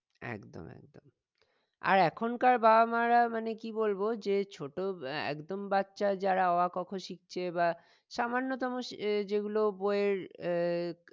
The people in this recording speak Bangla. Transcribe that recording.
একদম একদম আর এখনকার বাবা মারা মানে কি বলবো যে ছোট আহ একদম বাচ্চা যারা অ আ ক খ শিখছে বা সামান্যতম যেগুলো বই এর আহ